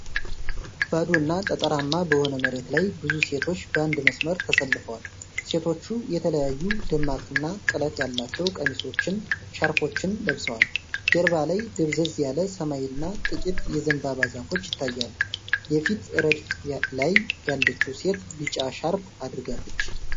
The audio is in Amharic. ባዶና ጠጠራማ በሆነ መሬት ላይ ብዙ ሴቶች በአንድ መስመር ተሰልፈዋል። ሴቶቹ የተለያዩ ደማቅና ጥለት ያላቸው ቀሚሶችንና ሻርፖችን ለብሰዋል። ጀርባ ላይ ደብዘዝ ያለ ሰማይና ጥቂት የዘንባባ ዛፎች ይታያሉ። የፊት ረድፍ ላይ ያለችው ሴት ቢጫ ሻርፕ አድርጋለች።